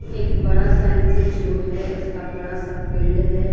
एक बड़ा सा इंस्टिट्यूट है इसका बड़ा सा फील्ड है।